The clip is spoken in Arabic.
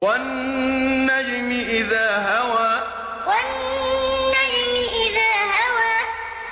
وَالنَّجْمِ إِذَا هَوَىٰ وَالنَّجْمِ إِذَا هَوَىٰ